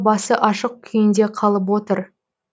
басы ашық күйінде қалып отыр